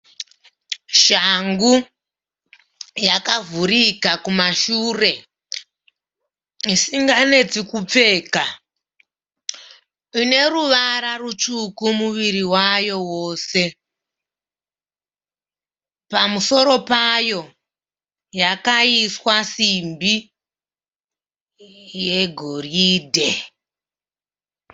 Shangu yakavhurika kumashure isinganetsi kupfeka. Ine ruvara rutsvuku muviri wayo wose. Pamusoro payo yakaiswa simbi yegoridhe.